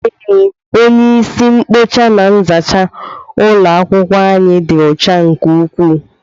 Ee, onye isi nkpocha na nzacha ulo akwukwo anyị ịdị ọcha nke ukwuu.